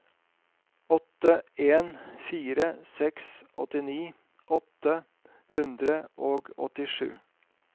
åtte en fire seks åttini åtte hundre og åttisju